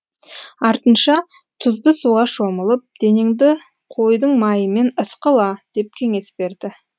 артынша тұзды суға шомылып денеңді қойдың майымен ысқыла деп кеңес берді